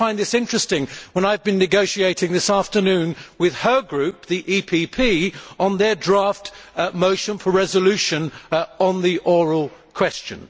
Well, I find this interesting, when I have been negotiating this afternoon with her group, the EPP, on their draft motion for a resolution on the oral question.